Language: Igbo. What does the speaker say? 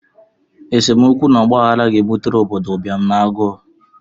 Esemokwu na ọgbaghara ga-ebutere obodo ụbịam na agụụ